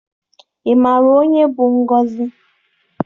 Ị maara onye bụ Ngọzị?